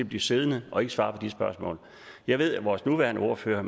blive siddende og ikke svare på de spørgsmål jeg ved at vores nuværende ordfører